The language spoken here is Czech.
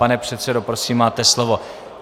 Pane předsedo, prosím máte slovo.